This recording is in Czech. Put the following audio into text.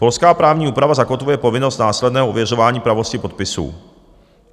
Polská právní úprava zakotvuje povinnost následného ověřování pravosti podpisů.